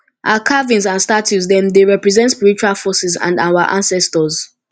our carvings and statues dem dey represent spiritual forces and our ancestors